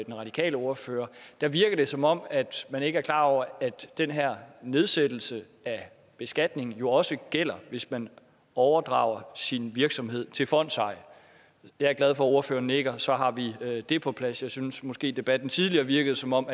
den radikale ordfører virker det som om man ikke er klar over at den her nedsættelse af beskatningen jo også gælder hvis man overdrager sin virksomhed til fondseje jeg er glad for at ordføreren nikker for så har vi det på plads jeg synes måske debatten tidligere virkede som om